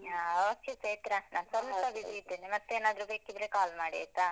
ಹ okay ಚೈತ್ರ ಸೊಲ್ಪ busy ಇದ್ದೇನೆ ಮತ್ ಏನಾದ್ರೂ ಬೇಕಿದ್ರೆ call ಮಾಡಿ ಆಯ್ತಾ.